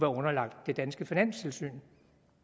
underlagt det danske finanstilsyn